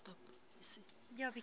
ke tla šala ke di